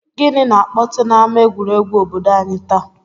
Gịnị na-akpọtụ n'ama egwuregwu obodo anyị taa?